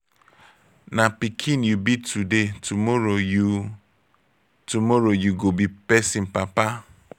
na pikin you be today tomorrow you tomorrow you go be pesin papa.